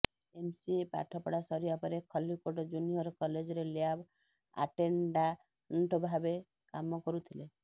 MCA ପାଠ ପଢ଼ା ସରିବା ପରେ ଖଲ୍ଲିକୋଟ ଜୁନିୟର କଲେଜରେ ଲ୍ୟାବ୍ ଆଟେଣ୍ଡାଣ୍ଟଭାବେ କାମ କରୁଥିଲେ